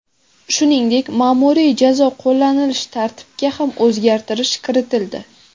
Shuningdek, ma’muriy jazo qo‘llanilishi tartibiga ham o‘zgartish kiritildi.